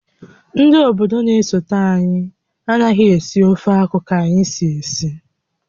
Ndị obodo na-esote anyị anaghị esi ofeakwụ ka anyị si esi